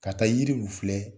Ka taa yirilu filɛ